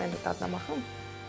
Mən də dadına baxım.